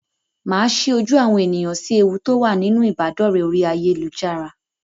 Màá sí ojú àwọn ènìyàn sí ewu tó wà nínú ìbádọ̀rẹ́ orí ayélujára.